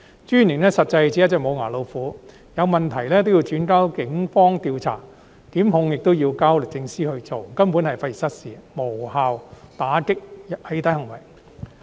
私隱專員實際上只是一隻"無牙老虎"，有問題都要轉交警方調查，檢控亦要交律政司進行，根本費時失事，無法有效打擊"起底"行為。